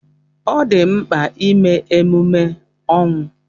Ọ dị mkpa ime emume ọnwụ.